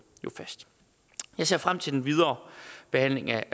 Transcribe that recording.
fast jeg ser frem til den videre behandling af